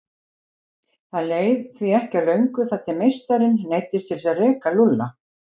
Það leið því ekki á löngu þar til meistarinn neyddist til að reka Lúlla.